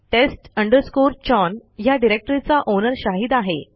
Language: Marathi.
test chown ह्या डिरेक्टरीचा ओनर शाहिद आहे